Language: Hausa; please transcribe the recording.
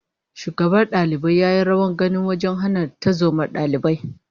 Shugaban dalibai ya yi rawar gani wajen hana tarzomar dalibai